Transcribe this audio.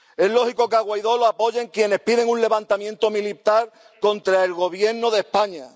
Es lógico que a Guaidó le apoyen quienes piden un levantamiento militar contra el Gobierno de España.